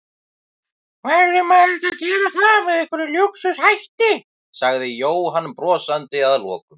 Verður maður ekki að gera það með einhverjum lúxus hætti? sagði Jóhann brosandi að lokum.